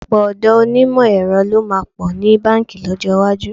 Ọ̀pọ̀ ọ̀dọ́ onímọ̀ ẹ̀rọ ló máa pọ̀ ní báǹkì lọ́jọ́ iwájú.